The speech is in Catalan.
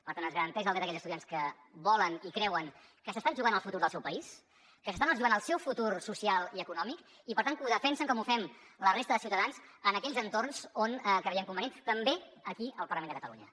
per tant es garanteix el dret a aquells estudiants que volen i creuen que s’estan jugant el futur del seu país que s’estan jugant el seu futur social i econòmic i per tant que ho defensen com ho fem la resta de ciutadans en aquells entorns on creiem convenient també aquí al parlament de catalunya